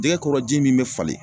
Jɛgɛ kɔrɔ ji min be falen